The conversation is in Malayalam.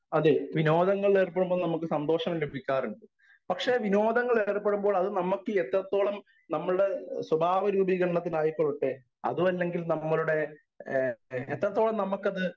സ്പീക്കർ 1 അതെ വിനോദങ്ങളിൽ ഏർപ്പെടുമ്പോൾ നമുക്ക് സന്തോഷം ലഭിക്കാറുണ്ട്. പക്ഷെ വിനോദങ്ങളിൽ ഏർപ്പെടുമ്പോൾ അത് നമ്മുക്ക് എത്രത്തോളം നമ്മളുടെ സ്വഭാവരൂപീകരത്തിനായിക്കൊള്ളട്ടെ അതുമല്ലങ്കിൽ നമ്മൾടെ ഏഹ് എത്രത്തോളം നമുക്കത്